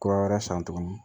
Kura wɛrɛ san tuguni